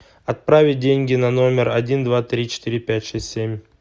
отправить деньги на номер один два три четыре пять шесть семь